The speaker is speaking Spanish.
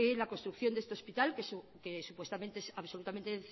la construcción de este hospital que supuestamente es absolutamente